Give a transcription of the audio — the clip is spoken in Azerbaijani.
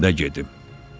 Çiyinində gedim.